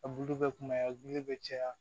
A bulu bɛ kunbaya bulu bɛ caya